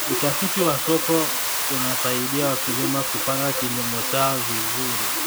Utafiti wa soko unasaidia wakulima kupanga kilimo chao vizuri.